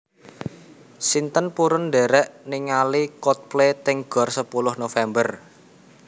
Sinten purun ndherek ningali Coldplay teng Gor Sepuluh November